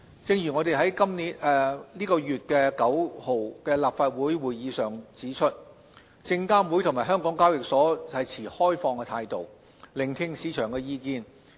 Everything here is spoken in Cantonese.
正如我們在本月9日的立法會會議上指出，證監會及港交所持開放的態度，聆聽市場的意見。